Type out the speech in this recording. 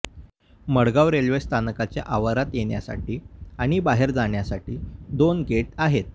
Madgaon railway स्थानकाच्या आवारात येण्यासाठी आणि बाहेर जाण्यासाठी दोन गेट आहेत